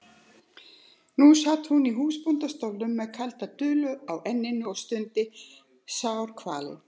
Nú sat hún í húsbóndastólnum með kalda dulu á enninu og stundi sárkvalin.